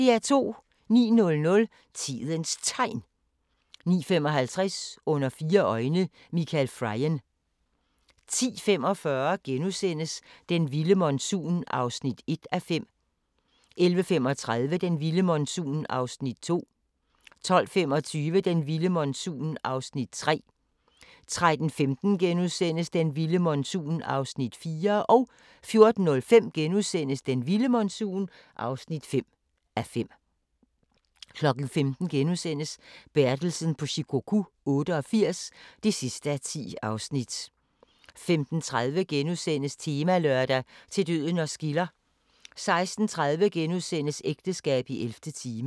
09:00: Tidens Tegn 09:55: Under fire øjne – Michael Frayen 10:45: Den vilde monsun (1:5)* 11:35: Den vilde monsun (2:5)* 12:25: Den vilde monsun (3:5)* 13:15: Den vilde monsun (4:5)* 14:05: Den vilde monsun (5:5)* 15:00: Bertelsen på Shikoku 88 (10:10)* 15:30: Temalørdag: Til døden os skiller * 16:30: Ægteskab i 11. time *